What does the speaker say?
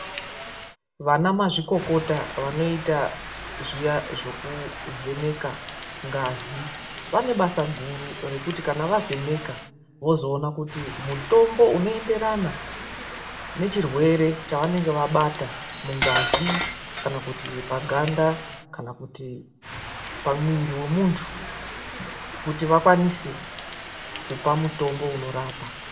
Vanamazvikokota vanoita zviya zvekuvheneka ngazi, vane basa guru rekuti kana vavheneka, vozoona kuti mutombo unoenderana nechirwere chavanenge vabata mungazi kana kuti paganda, kana kuti pamuviri wemuntu, kuti vakwanise kupa mutombo unorapa.